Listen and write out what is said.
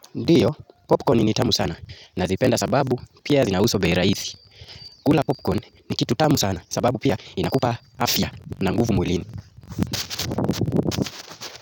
Ndiyo, popcorn ni tamu sana. Nazipenda sababu, pia zinauzwa bei rahisi. Kula popcorn ni kitu tamu sana, sababu pia inakupa afya na nguvu mwilini.